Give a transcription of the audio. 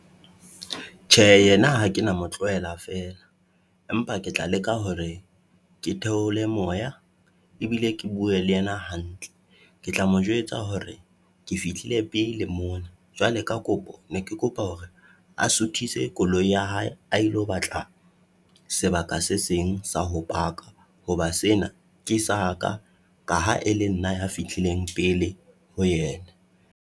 Tjhe, yena ha ke na mo tlohela fela, empa ke tla leka hore ke theole moya ebile ke bue le yena hantle, ke tla mo jwetsa hore ke fihlile pele mona. Jwale ka kopo, ne ke kopa hore a suthise koloi ya hae a ilo batla sebaka se seng sa ho paka, hoba sena ke sa ka, ka ha e le nna ya fihlileng pele ho yena.